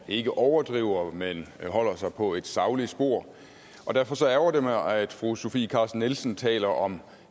og ikke overdriver men holder sig på et sagligt spor derfor ærgrer det mig at fru sofie carsten nielsen taler om